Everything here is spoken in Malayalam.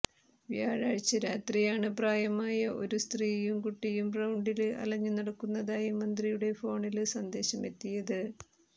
വ്യാഴാഴ്ച രാത്രിയാണ് പ്രായമായ ഒരു സ്ത്രീയും കുട്ടിയും റൌണ്ടില് അലഞ്ഞുനടക്കുന്നതായി മന്ത്രിയുടെ ഫോണില് സന്ദേശമെത്തിയത്